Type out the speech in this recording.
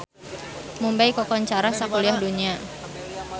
Mumbay kakoncara sakuliah dunya